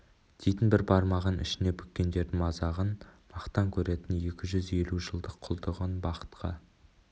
дейтін бір бармағын ішіне бүккендердің мазағын мақтан көретін екі жүз елу жылдық құлдығын бақытқа